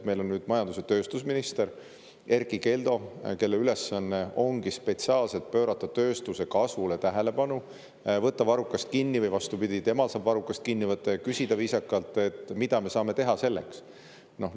Meil on nüüd majandus‑ ja tööstusminister Erkki Keldo, kelle ülesanne ongi spetsiaalselt pöörata tähelepanu tööstuse kasvule, võtta varrukast kinni, või vastupidi, temal saab varrukast kinni võtta ja viisakalt küsida, et mida me saame selleks teha.